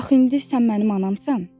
Axı indi sən mənim anamsan!